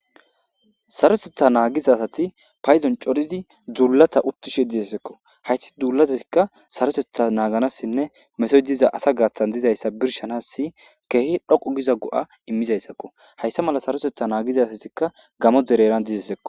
Sarosetha naagizasati payzon coridi duullatha uttishe didessekko hayssi duulazeikka sarotetha naaganassinne meso diza asa gaathan dizayssa birshanassi keehi dhoqu giza go'a immizayssakko hayssa mala sarosetha naagizasatikka gamo dereran dizesekko.